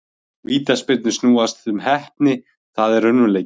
Vítaspyrnur snúast um heppni, það er raunveruleikinn.